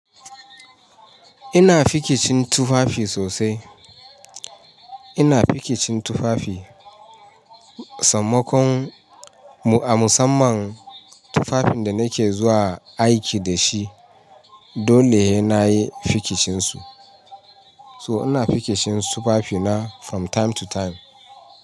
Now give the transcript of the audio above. Ina fikicin tufafi sosai. Ina fikicin tufafi, sammakon mu a musamman tufafin da nake zuwa aiki da shi. Dole ya nayi fikicin su. So ina fikicin tufafi na from time to time.